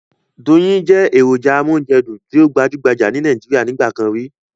Doyin jẹ́ èròjà amóúnjẹdùn tí ó gbajúgbajà ní Nàíjíríà nígbà kan rí.